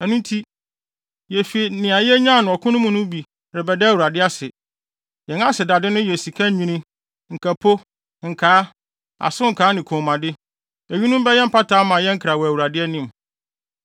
Ɛno nti, yefi nea yenyaa no ɔko no mu no bi mu rebɛda Awurade ase. Yɛn asedade no yɛ sika nnwinne, nkapo, nkaa, asokaa ne kɔnmuade. Eyinom bɛyɛ mpata ama yɛn kra wɔ Awurade anim.”